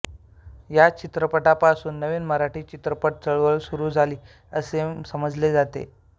या चित्रपटापसून नवीन मराठी चित्रपट चळवळ सुरू झाली असे समजले जाते